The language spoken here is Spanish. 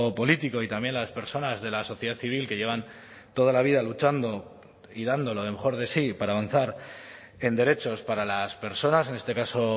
político y también las personas de la sociedad civil que llevan toda la vida luchando y dando lo mejor de sí para avanzar en derechos para las personas en este caso